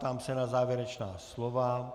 Ptám se na závěrečná slova.